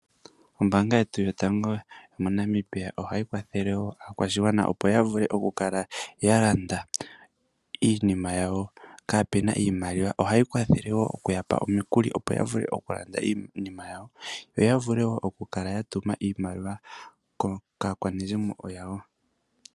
Ombanga yetu yotango yomoNamibia ohayi kwathele aakwashigwana opo yavule okulanda iinima yawo kapena iimaliwa ohayi kwathele woo okuyapa omikuli opo yavule okulanda iinima yawo nokutuma iimaliwa kaakwanezimo yawo.